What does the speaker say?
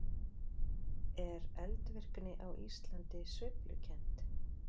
Er eldvirkni á Íslandi sveiflukennd?